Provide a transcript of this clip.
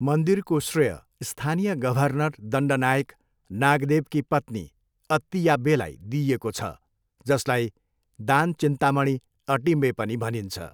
मन्दिरको श्रेय स्थानीय गभर्नर दण्डनायक नागदेवकी पत्नी अत्तियाब्बेलाई दिइएको छ, जसलाई दानचिन्तामणि अटिम्बे पनि भनिन्छ।